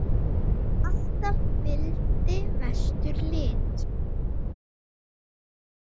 Og alltaf fylgdi vestur lit.